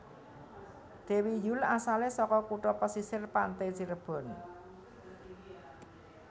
Dewi Yull asalé saka kutha pesisir pante Cirebon